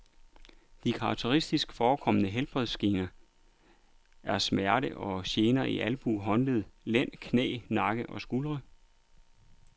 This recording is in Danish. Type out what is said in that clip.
De karakteristisk forekommende helbredsgener er smerter og gener i albuer, håndled, lænd, knæ, nakke og skuldre.